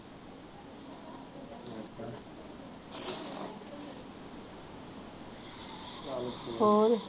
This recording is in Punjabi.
ਹੋਰ